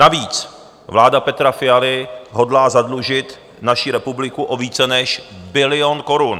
Navíc vláda Petra Fialy hodlá zadlužit naši republiku o více než bilion korun.